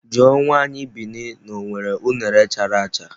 Jụọ nwaanyị Bini na ọ nwere unere chara acha!